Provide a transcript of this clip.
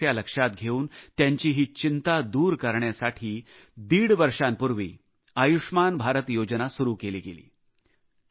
ही समस्या लक्षात घेऊन त्यांची ही चिंता दूर करण्यासाठी दीड वर्षांपूर्वी आयुष्मान भारत योजना सुरू केली गेली